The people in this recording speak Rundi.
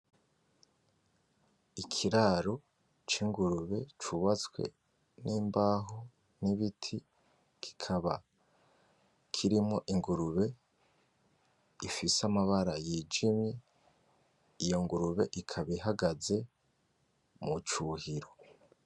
Ikiraro c'ingurube cubatswe n'imbaho; n'ibiti kikaba kirimo ingurube ifise amabara yijimye iyo ngurube ikaba ihagaze mucuhiro.